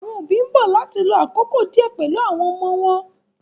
Àwọn òbí ń bọ̀ láti lo àkókò díẹ̀ pẹ̀lú àwọn ọmọ wọn.